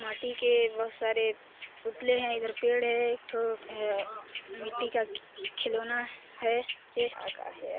--माटी के बहुत सारे पुतले है इधर पेड़ है एक ठो है मिट्टी का की खिलौना है का का यार --